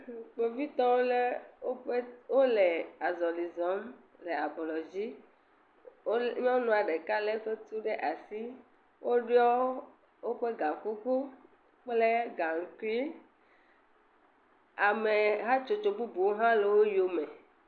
Kpovitɔwo le woƒe wo le azɔli zɔm le ablɔ dzi. Wo le nyɔnua ɖeka le eƒe tu ɖe asi. Woɖɔ woƒe ga kuku kle gaŋkui. Ame hatsotso bubuwo hã le wo yome.